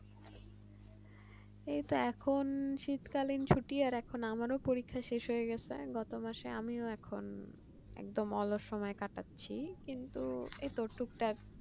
এইতো এখন শীতকালে ছুটি আর এখন আমার পরীক্ষা শেষ হয়ে গেছে গত মাসে আমিও এখন একদম আলাদা সময় কাটাচ্ছি কিন্তু এইটা টুকটাক